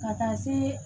Ka taa se